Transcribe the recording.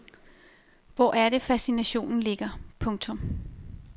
Hvor er det fascinationen ligger. punktum